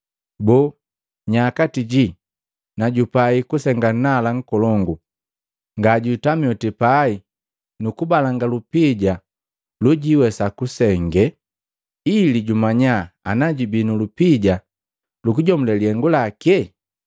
Boo nya kati ji na jupai kusenga nnala nkolongu, ngajwiitami oti pai kubalanga lupija lojiwesa kusenge, ili jumanya ana jubii nu lupija lukujomule lihengu lake?